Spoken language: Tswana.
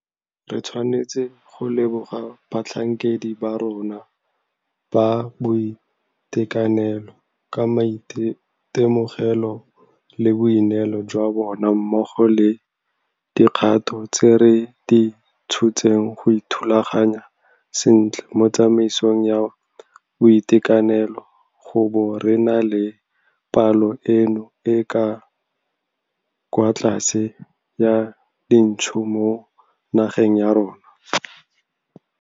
Re tshwanetse go leboga batlhankedi ba rona ba boitekanelo ka maitemogelo le boineelo jwa bona mmogo le dikgato tse re di tshotseng go ithulaganya sentle mo tsamaisong ya boitekanelo go bo re na le palo eno e e kwa tlase ya dintsho mo nageng ya rona.